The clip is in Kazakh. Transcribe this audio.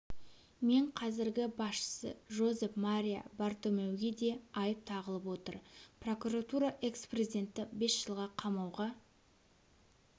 мен қазіргі басшысы жозеп мария бартомеуге де айып тағылып отыр прокуратура экс-президентті бес жылға қамауға